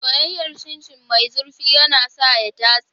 Soyayyar Chin Chin mai zurfi yana sa ya datse.